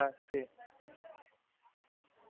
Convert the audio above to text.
baroda highschool, એમ કે ની પાછળ છે ને?